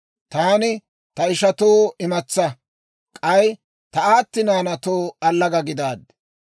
Taani ta ishatoo imatsaa, k'ay ta aatti naanaatoo allaga gidaaddi.